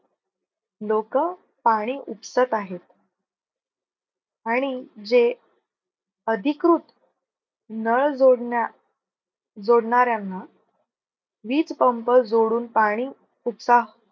लोक पाणी उपसत आहेत. आणि जे अधिकृत नळ जोडणा जोडणाऱ्यांना वीज पंप जोडून पाणी उपसा